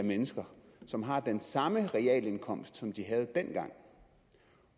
mennesker som har den samme realindkomst som de havde dengang